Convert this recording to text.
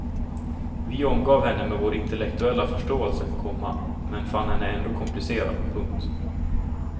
Vi omgav henne med vår intellektuella förståelse, komma men fann henne ändå komplicerad. punkt